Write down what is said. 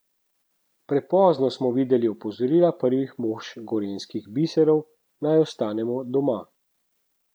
Prepozno smo videli opozorila prvih mož gorenjskih biserov, naj ostanemo doma.